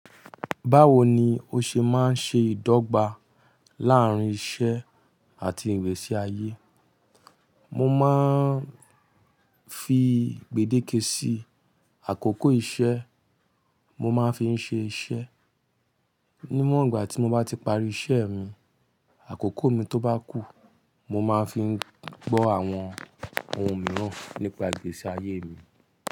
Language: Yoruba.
Báwo ni o ṣe máa ń ṣe ìdọ́gba láàárín iṣẹ́ àti ìgbésí ayé? Mo máa ń fi gbèdéke sí àkókò iṣẹ́, mo máa ń fi ń ṣe iṣẹ́. Ní wọ̀ńgbà tí mo bá ti parí iṣẹ́ mi, àkókò mi tó bá kù, mo máa ń fi gbọ́ àwọn ohun mìíràn nípa ìgbésí ayé mi.